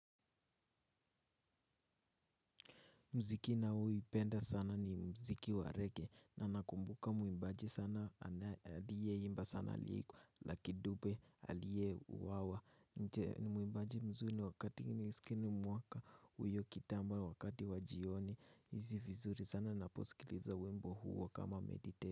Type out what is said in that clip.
Muziki ninaoupenda sana ni muziki wa rege na nakumbuka muimbaji aliyeimba sana lucky dupe aliyeuwawa. Nje ni muimbaji mzuri wakati nimesikiza hii mwaka hiyo kitambo wakati wa jioni nahisi vizuri sana ninaposikiliza wimbo huwa kama.